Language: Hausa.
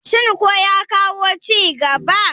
shin ko ya kawo ci gaba?